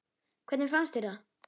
Hvernig fannst mér það?